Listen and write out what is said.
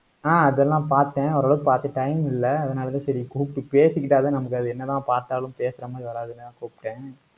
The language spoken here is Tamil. ஆஹ் அதெல்லாம் பார்த்தேன். ஓரளவுக்கு பார்த்து time இல்லை. அதனாலதான், சரி கூப்பிட்டு பேசிக்கிட்டாதான் நமக்கு அது என்னதான் பார்த்தாலும் பேசுற மாதிரி வராதுல. அத கூப்பிட்டேன்